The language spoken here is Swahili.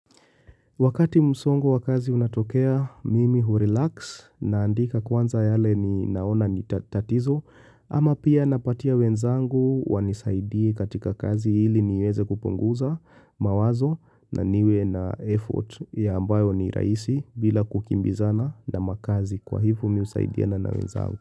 Wakati msongo wa kazi unatokea, mimi hurilaksi naandika kwanza yale ninaona ni tatizo, ama pia napatia wenzangu wanisaidie katika kazi ili niweze kupunguza mawazo na niwe na effort ya ambayo ni rahisi bila kukimbizana na makazi kwa hivyo mimi husaidiana na wenzangu.